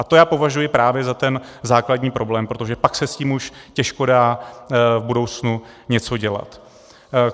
A to já považuji právě za ten základní problém, protože pak se s tím už těžko dá v budoucnu něco dělat.